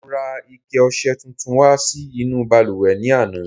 Mo ra ike ọṣẹ tuntun wá sí inú balùwẹ̀ ní àná.